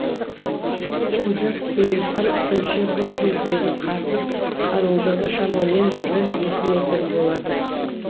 олжас керейхан тілші бұл жердегі қардың қалыңдығы шамамен бір екі метр болады